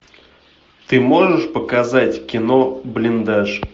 ты можешь показать кино блиндаж